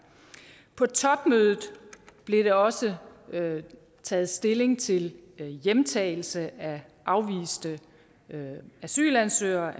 på topmødet blev der også taget stilling til hjemtagelse af afviste asylansøgere